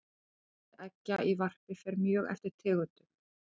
fjöldi eggja í varpi fer mjög eftir tegundum